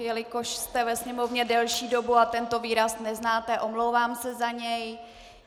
Jelikož jste ve Sněmovně delší dobu a tento výraz neznáte, omlouvám se za něj.